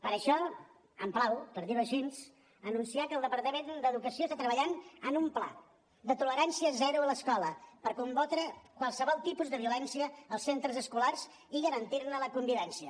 per això em plau per dir ho així anunciar que el departament d’educació està treballant en un pla de tolerància zero a l’escola per combatre qualsevol tipus de violència als centres escolars i garantir ne la convivència